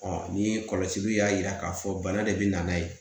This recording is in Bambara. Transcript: ni kɔlɔsili y'a yira k'a fɔ bana de bɛ na n'a ye